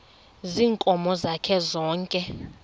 ziinkomo zakhe zonke